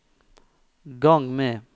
gang med